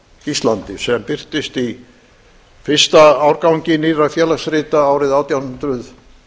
íslandi sem birtist í fyrsta árgangi nýrra félagsrita árið átján hundruð